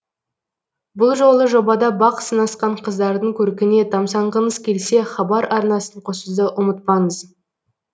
бұл жолы жобада бақ сынасқан қыздардың көркіне тамсанғыңыз келсе хабар арнасын қосуды ұмытпаңыз